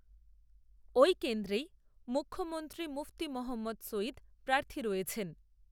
ওই কেন্দ্রেই, মুখ্যমন্ত্রী মুফতি মহম্মদ, সঈদ প্রার্থী রয়েছেন